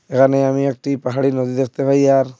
এহানে আমি একটি পাহাড়ি নদী দেখতে পাই আর--